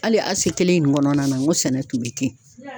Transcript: Hali kelen in kɔnɔna na n ko sɛnɛ tun bɛ yen.